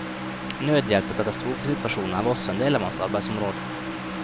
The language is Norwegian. Nødhjelp i katastrofesituasjoner var også en del av hans arbeidsområde.